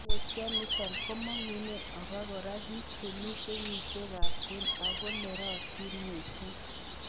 Koimutioni komong'unen obokora biik chemi kenyisiekab kwen ako nerotin missing.